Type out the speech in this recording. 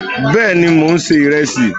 Bẹ́ẹ̀ni, mò ń se ìrẹsì